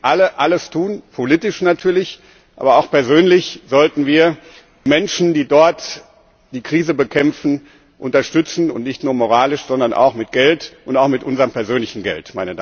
Wir müssen jetzt alle alles tun, politisch natürlich, aber auch persönlich sollten wir die Menschen, die dort die Krise bekämpfen, unterstützen, nicht nur moralisch, sondern auch mit Geld und auch mit unserem persönlichen Geld.